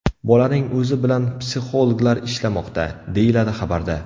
Bolaning o‘zi bilan psixologlar ishlamoqda”, deyiladi xabarda.